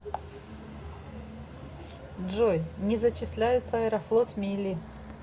джой не зачисляются аэрофлот мили